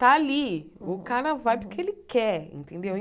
Tá ali, o cara vai porque ele quer, entendeu?